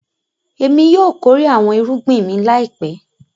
Ẹmi yóò kòrè awọn èrùgbìn mi láìpẹ̀.